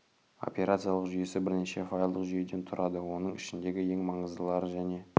операциялық жүйесі бірнеше файлдық жүйеден тұрады оның ішіндегі ең маңыздылары және